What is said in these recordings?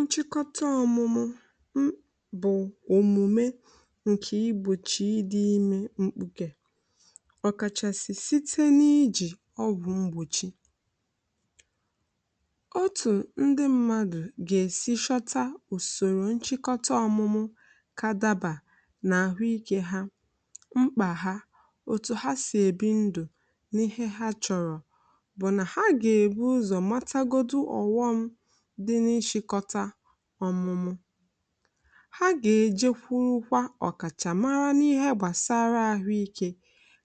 Nchịkọta ọmụmụ bụ̀ omume nke igbochi ime mkpuke, ọkachasị site n’iji ọ bụ mgbochi. Otu ndị mmadụ ga-esi họta ụzọ nchịkọta ọmụmụ ka ọ dabara na ahụ́ ike ha, mkpà ha, na otu ha si ebi ndụ, tinyere ihe ha chọrọ, bụ́ na ha ga-ebu ụzọ dị n’isi họta ọmụmụ. Ha ga-eje kwụrụkwa ọkachamara n’ihe gbasara ahụ ike,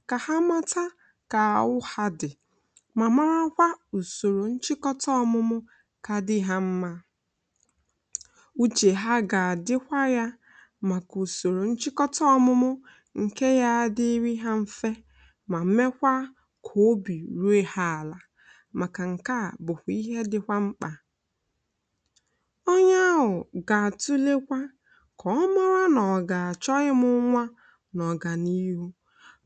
ka ha mata ụdị nchịkọta ọmụmụ dị, ma mara kwa ụzọ nchịkọta ọmụmụ ga-adị ha mma. Uche ha ga-adịkwa ya maka nchịkọta ọmụmụ nke dịrị ha mfe, ma mee ka obi ruo ha ala, maka na nke a bụkwa ihe dị mkpa. Onye ahụ ga-atụlekwa: Ọ na-achọ ịmụ nwa n'ọganiihu.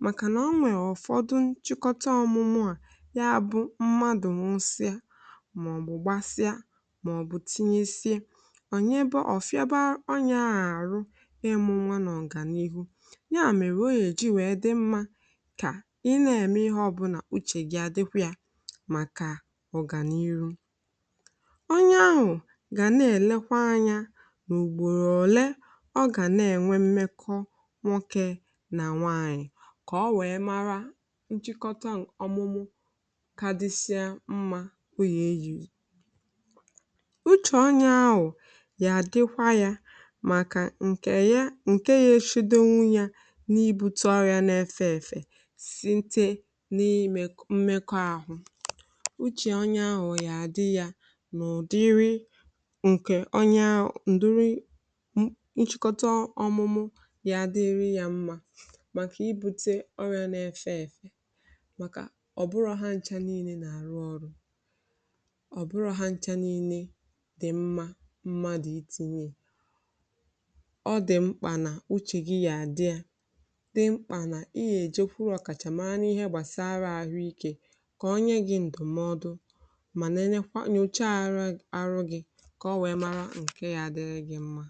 Maka na e nwere ụfọdụ nchịkọta ọmụmụ a na-eji eme ihe mgbe mmadụ nwụsịrị, gbasịa, maọbụ tinyere sị onye ya bụ ọ fịaba ịrụ ọrụ ime nwa, na ọganiihu ya. Ya mere, oge eji were dị mma ka i na-eme ihe ọbụla. Uche gị ga-adịkwa ya maka ọganiihu. Onye ahụ ga na-elekwa anya n’ụgbọ ole ọ ga na-enwe mmekọ nwoke na nwaanyị, ka o wee mara nchịkọta ọmụmụ kacha dị ya mma. O kwesịrị ichepụta ụzọ ọ ga-esi chekwa onwe ya n’ibute ọrịa na-efe efe site n’ime mmekọ ahụ. Uche onye ahụ ga-adịrị ya, nke onye họtara nchịkọta ọmụmụ ya, ga-adịrị ya mma, maka ibute ọrịa na-efe efe. Maka na ọ bụghị ha niile mgbochi ọmụmụ na-arụ ọrụ. Ọ bụghị ha niile dị mma. I tinye ihe dị mkpa na uche gị. Ya adịrị gị mkpa na i jee kwụrụ ọkachamara n’ihe gbasara ahụ ike, ka onye gị bụ ndụmọdụ họrọ ụdị nchịkọta ọmụmụ ga-adịrị gị mma.